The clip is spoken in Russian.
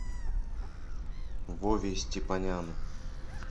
вове степаняну